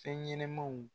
Fɛn ɲɛnɛmanw